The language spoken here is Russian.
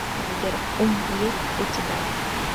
сбер ум есть у тебя